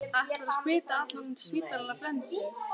Ætlarðu að smita allan spítalann af flensu?